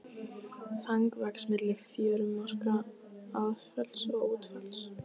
Þang vex milli fjörumarka aðfalls og útfalls.